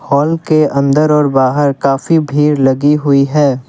Hall के अंदर और बाहर काफी भीड़ लगी हुई है।